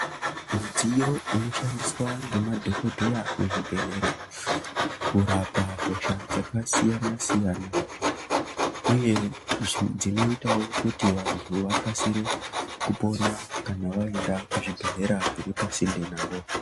Midziyo inoshandiswa nemadhokodheya kurapa hosha dzakasiyana siyana uye dzinoita wo kuti vantu vakasire kupona kana vaenda kuzvibhedhlera zviripasinde pawo.